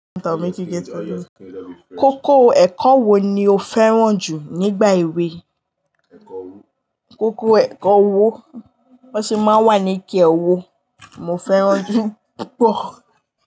Kókó ẹ̀kọ́ wo ni o fẹ́ràn jù nígbà èwe? Kókó ẹ̀kọ́ owó, wọn sì máa ń wà ní kí owó, mo fẹ́ràn jù púpọ̀.